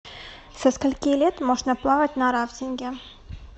со скольки лет можно плавать на рафтинге